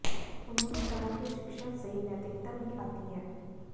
उन्होंने कहा कि शिक्षा से नैतिकता भी आती है